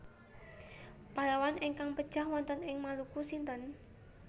Pahlawan ingkang pejah wonten ing Maluku sinten